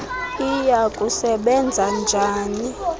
iya kusebenza njani